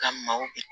Ka maaw